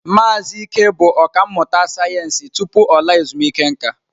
Maazị Ike bụ ọkà mmụta sayensị tupu ọ laa ezumike nka.